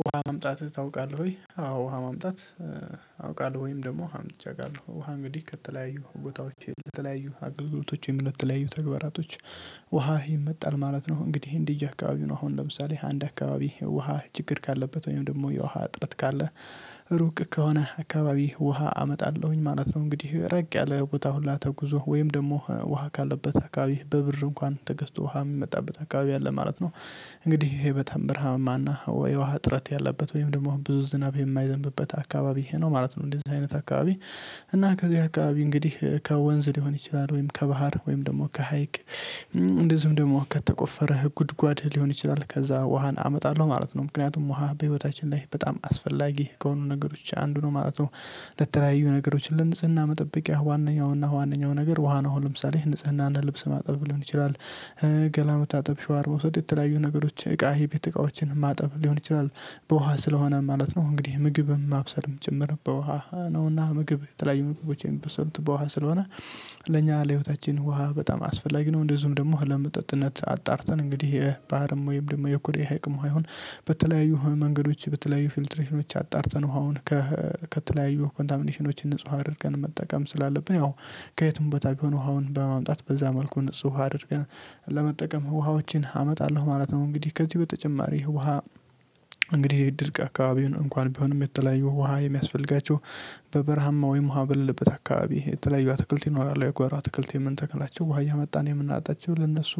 ውሃ ማምጣት ታውቃለህ ወይ? አዎ ውሃ ማምጣት። አውቃለሁ ወይም ደግሞ ውሃ አምጥቸ አውቃለሁ ውሃ እንግዲህ ከተለያዩ ቦታዎች ለተለያዩ አገልግሎቶች ወይም ለተለያዩ ተግባራቶች። ውሃ ይመጣል ማለት ነው እንግዲህ እንደየ አካባቢ ነው አሁን ለምሳሌ አንድ አካባቢ ውሃ ችግር ካለበት ወይም ደግሞ የውሃ እጥረት ካለ ሩቅ ከሆነ አካባቢ ውሃ አመጣለሁኝ ማለት ነው። እንግዲህ ራቅ ያለ ቦታ ሁላ ተጉዞ ወይም ደግሞ ውሃ ካለበት አካባቢ በብር እንኳን ተገዝቶ ውሃ የሚመጣበት አካባቢ አለ ማለት ነው። እንግዲህ ይሄ በጣም ብርሃማና ወይ ውሃ ጥረት ያለበት ወይም ደግሞ ብዙ ዝናብ የማይዘንብበት አካባቢ ይህ ነው ማለት ነው እንደዚህ አይነት አካባቢ። እና ከዚህ አካባቢ እንግዲህ ከወንዝ ሊሆን ይችላል ወይም ከባህር ወይም ደግሞ ከሀይቅ። እንደዚሁም ደግሞ ከተቆፈረ ጉድጓድ ሊሆን ይችላል ከዛ ውሃን አመጣለሁ ማለት ነው ምክንያቱም ውሃ በህይወታችን ላይ በጣም አስፈላጊ ከሆኑ ነገሮች አንዱ ነው ማለት ነው። ለተለያዩ ነገሮች ለንጽህና መጠበቂያ ዋነኛው ና ዋነኛው ነገር ውሃ ነው አሁን ለምሳሌ ንጽህናና ልብስ ማጠብ ሊሆን ይችላል። ገላ መታጠብ ሸዋ አርባ ውስጥ የተለያዩ ነገሮች እቃ የቤት እቃዎችን ማጠብ ሊሆን ይችላል በውሃ ስለሆነ ማለት ነው እንግዲህ ምግብም ማብሰልም ጭምር በውሃ ነውና ምግብ የተለያዩ ምግቦች የሚበሰሉት በውሃ ስለሆነ። ለኛ ለህይወታችን ውሃ በጣም አስፈላጊ ነው። እንደዚሁም ደግሞ ለመጠጥነት አጣርተን እንግዲህ የባህርም ወይም ደግሞ የኩሬ ሀይቅም ዉሃ ይሁን። በተለያዩ መንገዶች በተለያዩ ፊልትሬሽኖች አጣርተን ውሃውን ከተለያዩ ኮንታሚኔሽኖች ንጹህ አድርገን መጠቀም ስላለብን ያው ከየትም ቦታ ቢሆን ውሃውን በማምጣት በዛ መልኩ ንጹህ አድርገን ለመጠቀም ውሃዎችን አመጣለሁ ማለት ነው። እንግዲህ ከዚህ በተጨማሪ ውሃ እንግዲህ ድርቅ አካባቢውን እንኳን ቢሆንም የተለያዩ ውሃ የሚያስፈልጋቸው በበረሃማ ወይም ውሃ በሌለበት አካባቢ የተለያዩ አትክልት ይኖራሉ የጓራ ትክልት የምንተክላቸው ውሃ እያመጣን የምናጠጣቸው ለነሱ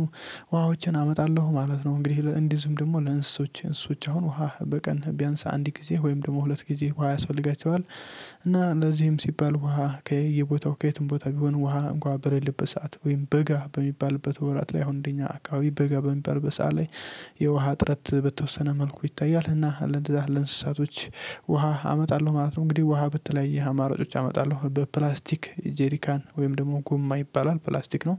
ውሃዎችን አመጣለሁ ማለት ነው። እንግዲህ እንዴዚህም ደግሞ ለእንስሶች እንስሶች አሁን ውሃ በቀን ቢያንስ አንድ ጊዜ ወይም ደግሞ ሁለት ጊዜ ውሃ ያስፈልጋቸዋል። እና ለዚህም ሲባል ውሃ ከየቦታው ከየትም ቦታ ቢሆን ውሃ እንኳ በሌለበት ሰዓት ወይም በጋ በሚባልበት ወራት ላይ አሁን እንደኛ አካባቢ በጋ በሚባልበት ሰዓት ላይ የውሃ ጥረት በተወሰነ መልኩ ይታያል እና ለዛ ለእንስሳቶች ውሃ አመጣለሁ ማለት ነው። እንግዲህ ውሃ በተለያየ አማራጮች አመጣለሁ በፕላስቲክ ጄሪካን ወይም ደግሞ ጎማ ይባላል ፕላስቲክ ነው።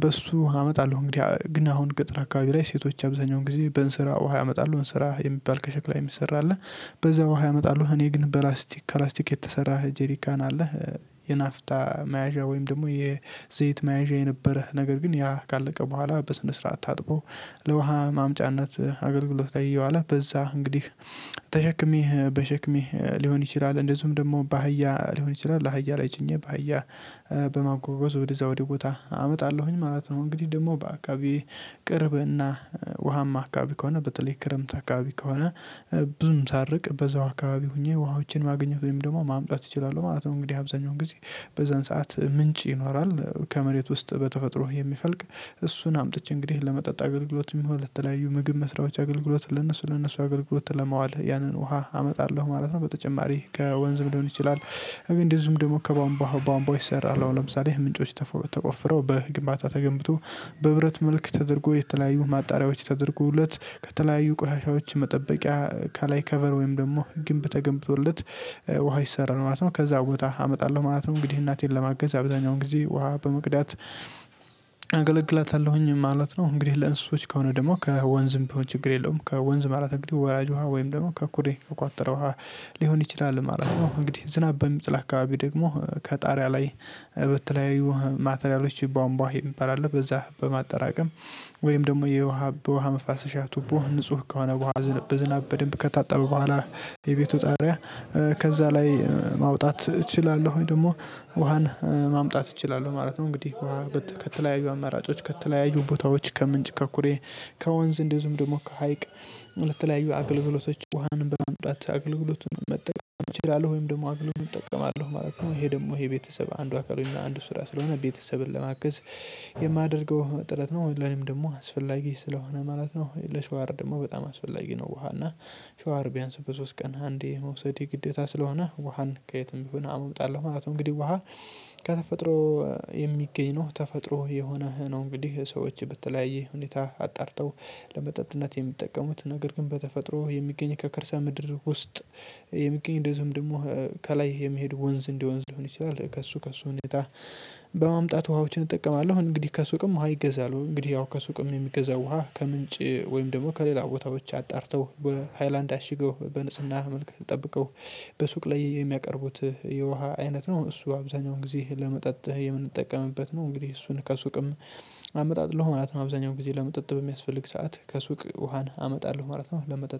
በሱ አመጣለሁ እንግዲህ ግን አሁን ገጠር አካባቢ ላይ ሴቶች አብዛኛውን ጊዜ በዕንስራ ውሃ ያመጣሉ ዕንስራ የሚባል ከሸክላ የሚሰራ አለ በዛ ውሃ ያመጣሉ እኔ ግን በላስቲክ ከላስቲክ የተሰራ ጄሪካን አለ። የናፍታ መያዣ ወይም ደግሞ የዘይት መያዣ የነበረ ነገር ግን ያ ካለቀ በኋላ በስነ ስርዓት ታጥቦ ለውሃ ማምጫነት አገልግሎት ላይ እየዋለ በዛ እንግዲህ ተሸክሜ በሸክሜ ሊሆን ይችላል እንደዚሁም ደግሞ በአህያ ሊሆን ይችላል አህያ ላይ ጭኜ በአህያ በማጓጓዝ ወደዛ ወደዛ ወደ ቦታ አመጣለሁኝ ማለት ነው። እንግዲህ ደግሞ በአካባቢ ቅርብና ውሃማ አካባቢ ከሆነ በተለይ ክረምት አካባቢ ከሆነ ብዙም ሳርቅ በዛው አካባቢ ሆኜ ውሃዎችን ማግኘት ወይም ደግሞ ማምጣት እችላለሁ ማለት ነው። እንግዲህ አብዛኛውን ጊዜ በዛን ሰዓት ምንጭ ይኖራል ከመሬት ውስጥ በተፈጥሮ የሚፈልቅ እሱን አምጥቼ እንግዲህ ለመጠጥ አገልግሎት የሚሆን ለተለያዩ ምግብ መስሪያዎች አገልግሎት ለነሱ ለነሱ አገልግሎት ለማዋል ያንን ውሃ አመጣለሁ ማለት ነው። በተጨማሪ ከወንዝም ሊሆን ይችላል እንደዚሁም ደግሞ ከቧንቧ ዉሃ ቧንቧ ይሰራል አሁን ለምሳሌ ምንጮች ተቆፍረው በግምባታ ተገንብቶ በብረት መልክ ተደርጎ የተለያዩ ማጣሪያዎች ተደርጎለት ከተለያዩ ቆሻሻዎች መጠበቂያ ካላይ ከቨር ወይም ደግሞ ግንብ ተገንብቶለት ውሃ ይሰራል ማለት ነው። ከዛ ቦታ አመጣለሁ ማለት ነው እንግዲህ እናቴን ለማገዝ አብዛኛውን ጊዜ ውሃ በመቅዳት አገለግላታለሁኝ ማለት ነው። እንግዲህ ለእንስሶች ከሆነ ደግሞ ከወንዝም በሆነ ችግር የለውም ከወንዝ ማለት እንግዲህ ወራጅ ውሃ ወይም ደግሞ ከኩሬ ከቋጠረ ዉሃ ሊሆን ይችላል ማለት ነው። እንግዲህ ዝናብ በሚጥል አካባቢ ደግሞ ከጣሪያ ላይ በተለያዩ ማቴሪያሎች ቧንቧ ይባላል በዛ በማጠራቀም ወይም ደግሞ የውሃ በውሃ መፋሰሻ ቱቦ ንጹህ ከሆነ በውሃ በዝናብ በደንብ ከታጠበ በኋላ የቤቱ ጣሪያ ከዛ ላይ ማውጣት እችላለሁ ደግሞ ውሃን ማምጣት እችላለሁ ማለት ነው። እንግዲህ ውሃ ከተለያዩ አማራጮች ከተለያዩ ቦታዎች ከምንጭ ከኩሬ ከወንዝ እንደዚሁም ደግሞ ከሀይቅ ለተለያዩ አገልግሎቶች ውሃን በማምጣት አገልግሎቱን መጠቀም እችላለሁ ወይም ደግሞ አገልግሎቱን እጠቀማለሁ ማለት ነው። ይሄ ደግሞ ይሄ የቤተሰብ አንዱ አካል አንዱ ስራ ስለሆነ ቤተሰብን ለማገዝ የማደርገው ጥረት ነው ለኔም ደግሞ አስፈላጊ ስለሆነ ማለት ነው። ለሻወር ደግሞ በጣም አስፈላጊ ነው ዉሃ እና ሻወር ቢያንስ በሶስት ቀን አንዴ መውሰድ የግዴታ ስለሆነ ውሃን ከየትም ቢሆን አምጣለሁ ማለት ነው። እንግዲህ ውሃ ከተፈጥሮ የሚገኝ ነው ተፈጥሮ የሆነ ነው እንግዲህ ሰዎች በተለያየ ሁኔታ አጣርተው ለመጠጥነት የሚጠቀሙት ነገር ግን በተፈጥሮ የሚገኝ ከከርሰ ምድር ውስጥ የሚገኝ እንደዚሁም ደግሞ ከላይ የሚሄድ ወንዝ እንደ ወንዝ ሊሆን ይችላል ከእሱ ከእሱ ሁኔታ በማምጣት ውሃዎችን እጠቀማለሁ። እንግዲህ ከሱቅም ውሃ ይገዛሉ እንግዲህ ያው ከሱቅም የሚገዛው ውሃ ከምንጭ ወይም ደግሞ ከሌላ ቦታዎች አጣርተው በሃይላንድ አሽገው በንጽህና መልክ ጠብቀው በሱቅ ላይ የሚያቀርቡት የውሃ አይነት ነው። እሱ አብዛኛውን ጊዜ ለመጠጥ የምንጠቀምበት ነው እንግዲህ እሱን ከሱቅም አመጣለሁ ማለት ነው አብዛኛው ጊዜ ለመጠጥ በሚያስፈልግ ሰዓት ከሱቅ ውሃን አመጣለሁ ማለት ነው። ለመጠጥ